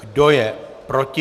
Kdo je proti?